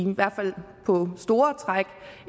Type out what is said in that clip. store træk